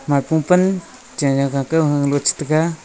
mahpua pan che gaga ke hung lux tega.